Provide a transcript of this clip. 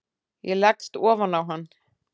Ég leggst ofan á hann.